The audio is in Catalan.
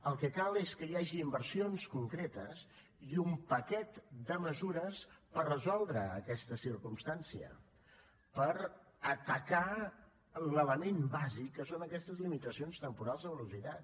el que cal és que hi hagi inversions concretes i un paquet de mesures per resoldre aquesta circumstància per atacar l’element bàsic que són aquestes limitacions temporals de velocitat